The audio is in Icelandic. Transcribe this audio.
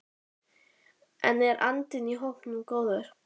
En er andinn í hópnum góður?